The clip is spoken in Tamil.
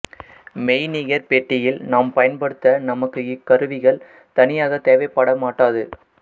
மெய்நிகர்பெட்டியில் நாம் பயன்படுத்த நமக்கு இக்கருவிகள் தனியாக தேவை படமாட்டாது